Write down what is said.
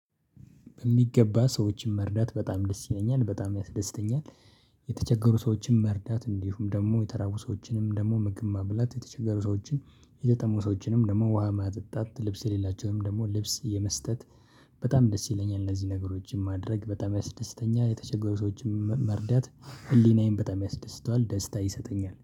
በሚገባ ሰዎችን መርዳት በጣም ደስ ይለኛል በጣም ያስደስተኛል። ሰዎችን መርዳት እንዲሁም ደግሞ የተራቡ ሰዎችንም ደግሞ ምግብ ማብላት የተቸገሩ ሰዎችን የተጠሙ ሰዎችንም ደግሞ ውሃ ማጠጣት ልብስ የሌላቸውንም ደግሞ ልብስ የመስጠት። በጣም ደስ ይለኛል እነዚህ ነገሮችን ማድረግ በጣም ያስደስተኛል የተቸገሩ ሰዎችን መርዳት። ህሊናዬን በጣም ያስደስተዋል ደስታ ይሰጠኛል